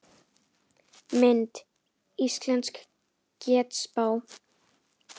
Mynd: Íslensk getspá